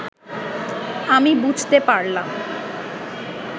আমি বুঝতে পারলাম